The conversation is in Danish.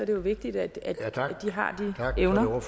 det jo vigtigt at de har evnerne